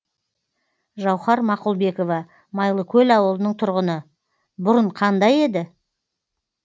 жауһар мақұлбекова майлыкөл ауылының тұрғыны бұрын қандай еді